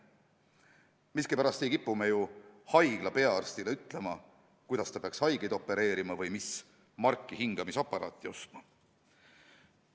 Miskipärast ei kipu me haigla peaarstile ütlema, kuidas ta peaks haigeid opereerima või mis marki hingamisaparaadi ostma.